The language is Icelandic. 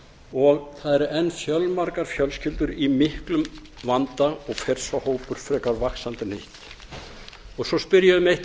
og það eru enn fjölmargar fjölskyldur í miklum vanda og fer sá hópur frekar vaxandi en hitt svo spyr ég um eitt